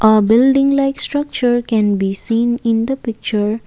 a building like structure can be seen in the picture.